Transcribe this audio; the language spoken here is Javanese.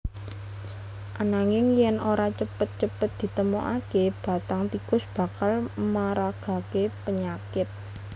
Ananging yèn ora cepet cepet ditemokaké bathang tikus bakal maragaké penyakit